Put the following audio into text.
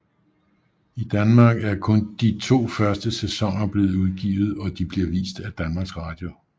I Danmark er kun de to første sæsoner blevet udgivet og de bliver vist af DR